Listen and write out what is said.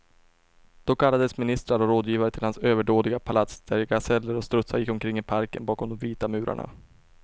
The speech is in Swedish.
Då kallades ministrar och rådgivare till hans överdådiga palats, där gaseller och strutsar gick omkring i parken bakom de vita murarna.